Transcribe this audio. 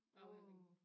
Wow